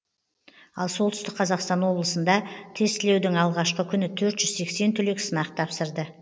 ал солтүстік қазақстан облысында тестілеудің алғашқы күні төрт жүз сексен түлек сынақ тапсырды